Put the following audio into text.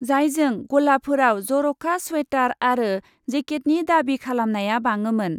जायजों गलाफोराव जर'खा स्वेटार आरो जेकेटनि दाबि खालामनाया बाङोमोन ।